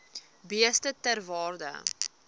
beeste ter waarde